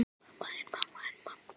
En það er okkar starf.